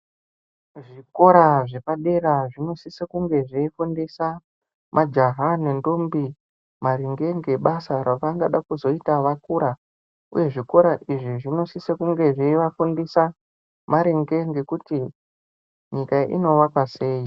Zvikora zvepadera zvinosiso kunge zveifundisa majaha nendombi maringe ngebasa ravangada kuzoita vakura, uye zvikora izvi zvinosisa kunge zveivafundisa maringe ngekuti nyika inovakwa sei.